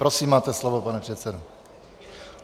Prosím, máte slovo, pane předsedo.